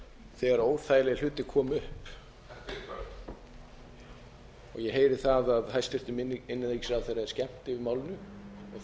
þegar óþægilegir hlutir komu upp þetta er burt ég heyri það að hæstvirtur innanríkisráðherra er skemmt yfir málinu og það er